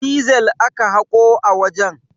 Dizel aka haƙo a wajen.